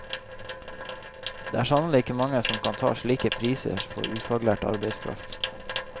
Det er sannelig ikke mange som kan ta slike priser for ufaglært arbeidskraft.